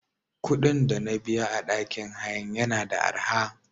Kuɗin dana biya a ɗakin hayan yana da araha.